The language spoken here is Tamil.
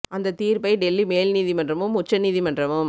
அந்த தீர்ப்பை டெல்லி மேல் நீதிமன்றமும் உச்ச நீதி மன்றமும்